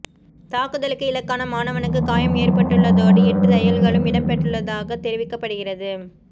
தாக்குதலுக்கு இலக்கான மாணவனுக்கு காயம் ஏற்பட்டுள்ளதோடு எட்டு தையல்களும் இடப்பட்டுள்ளதாக தெரிவிக்கப்படுகிறது